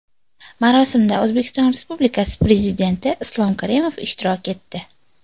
Marosimda O‘zbekiston Respublikasi Prezidenti Islom Karimov ishtirok etdi.